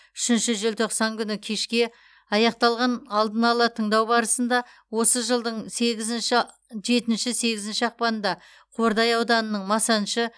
үшінші желтоқсан күні кешке аяқталған алдын ала тыңдау барысында осы жылдың сегізінші жетінші сегізінші ақпанында қордай ауданының масаншы